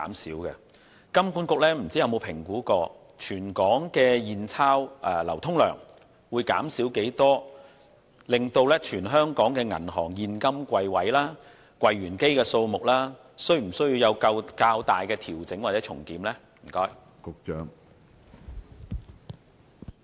不知道金管局有否評估全港的現鈔流通量將會減少多少，以及全港銀行的現金櫃位和櫃員機數目需否作出較大的調整或重檢？